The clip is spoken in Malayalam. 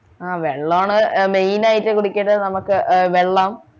ആഹ് വെള്ളോ ആണ് ഏർ main ആയിട്ട് കുടിക്കേണ്ടത് നമ്മക്ക് ആഹ് വെള്ളം